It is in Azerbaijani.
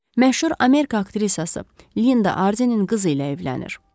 Məşhur Amerika aktyoru Linda Arzinin qızı ilə evlənir.